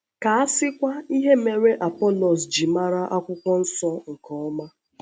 Ka a sịkwa ihe mere Apọlọs ji ‘màrà Akwụkwọ Nsọ nke ọma’!